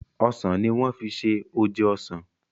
osàn ní wan fí ṣe oje osán.